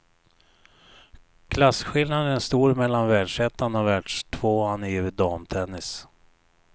Klasskillnaden är stor mellan världsettan och världstvåan i damtennis.